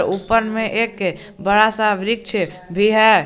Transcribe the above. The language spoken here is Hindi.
ऊपर में एक बड़ा सा वृक्ष भी है।